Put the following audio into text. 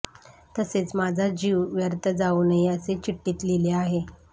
तसेच माझा जीव व्यर्थ जाऊ नये असे चिठ्ठीत लिहले आहे